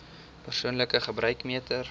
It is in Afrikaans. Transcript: persoonlike gebruik meter